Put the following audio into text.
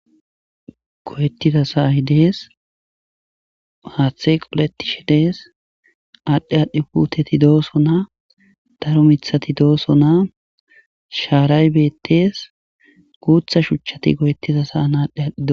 Loyettiza saahi dees haaththe qoletishe dees aadhdhe aadhdhi puteti dooso naa daro mithati dooso naa shaaraybettees guutha shuchchati goyettiza sa ana aadhdhe adhdhido.